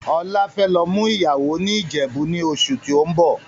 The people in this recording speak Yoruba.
Ọlá fẹ́ lọ mú ìyàwó ni Ìjẹ̀bú ni oṣù tóun bọ̀.